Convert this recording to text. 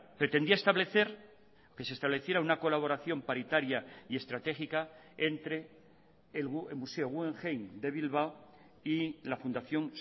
pretendía establecer que se estableciera una colaboración paritaria y estratégica entre el museo guggenheim de bilbao y la fundación